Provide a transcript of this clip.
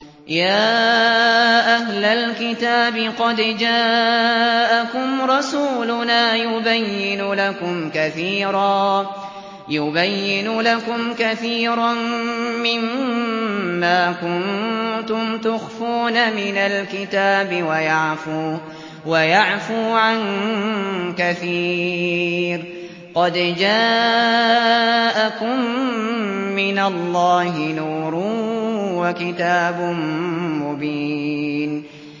يَا أَهْلَ الْكِتَابِ قَدْ جَاءَكُمْ رَسُولُنَا يُبَيِّنُ لَكُمْ كَثِيرًا مِّمَّا كُنتُمْ تُخْفُونَ مِنَ الْكِتَابِ وَيَعْفُو عَن كَثِيرٍ ۚ قَدْ جَاءَكُم مِّنَ اللَّهِ نُورٌ وَكِتَابٌ مُّبِينٌ